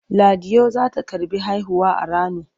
Ladiyo za ta karɓi haihuwa a Rano.